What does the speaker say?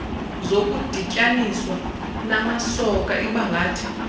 zokudityaninswa namasoka ibangathi